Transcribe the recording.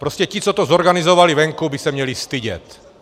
Prostě ti, co to zorganizovali venku, by se měli stydět!